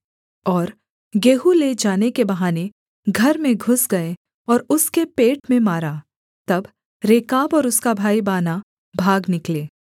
और गेहूँ ले जाने के बहाने घर में घुस गए और उसके पेट में मारा तब रेकाब और उसका भाई बानाह भाग निकले